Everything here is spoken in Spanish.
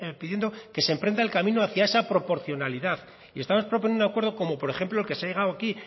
pidiendo que se emprenda el camino hacia esa proporcionalidad y estamos proponiendo un acuerdo como por ejemplo al que se ha llegado aquí